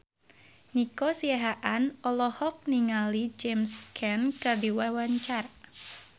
Nico Siahaan olohok ningali James Caan keur diwawancara